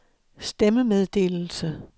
stemmemeddelelse